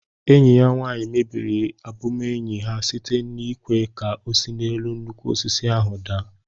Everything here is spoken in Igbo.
Enyi ya nwanyi mebiri ọbụbụenyi ha site n'ịkwé ka ọ si n'elu nnukwu osisi ahu daa